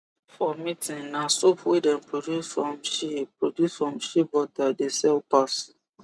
for meeting na soap wey dem produce from shea produce from shea butter dey sell pass